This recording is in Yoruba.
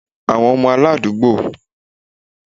Àwọn ọmọ aládùúgbò